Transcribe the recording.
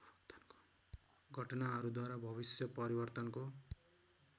घटनाहरूद्वारा भविष्य परिवर्तनको